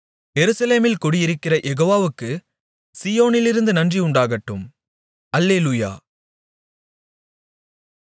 எருசலேமில் குடியிருக்கிற யெகோவாவுக்கு சீயோனிலிருந்து நன்றிஉண்டாகட்டும் அல்லேலூயா